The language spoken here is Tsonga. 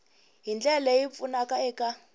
hi ndlela leyi pfunaka eka